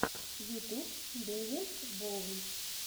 ютуб дэвилс боунс